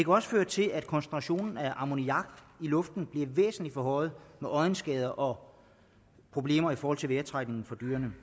også føre til at koncentrationen af ammoniak i luften bliver væsentlig forhøjet med øjenskader og problemer i forhold til vejrtrækningen for dyrene